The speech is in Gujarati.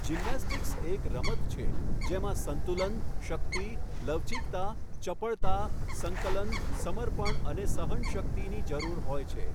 જિમ્નેસ્ટિક્સ એક રમત છે જેમાં સંતુલન, શક્તિ, લવચિકતા, ચપળતા, સંકલન, સમર્પણ અને સહનશક્તિની જરૂર હોય છે.